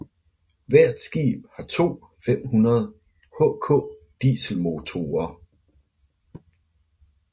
Hvert skib har to 500 HK dieselmotorer